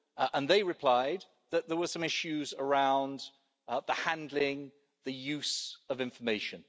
And they replied that there were some issues surrounding the handling, the use of information.